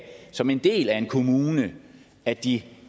som en del af en kommune at de